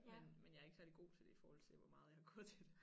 Men men jeg er ikke særlig god til det i forhold til hvor meget jeg har gået til det